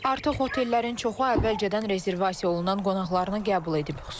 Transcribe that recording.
Artıq hotellərin çoxu əvvəlcədən rezervasiya olunan qonaqlarını qəbul edib.